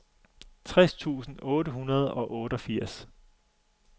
tres tusind otte hundrede og otteogfirs